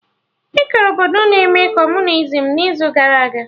Ekere obodo na-eme Kọmunizim n'izu gara aga